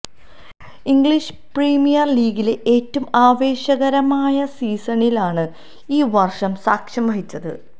English Premier ലീഗിലെ ഏറ്റവും ആവേശകരമായ സീസണിനാണ് ഈ വർഷം സാക്ഷ്യം വഹിച്ചത്